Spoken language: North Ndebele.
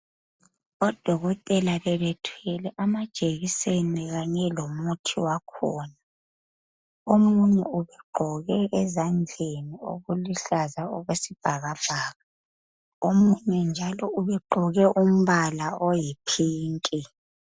Odokotela bebethwele amajekiseni kanye lomuthi wakhona omunye ugqoke ezandleni okuluhlaza okwesibhakabhaka omunye njalo ubegqoke umbala oyipinki.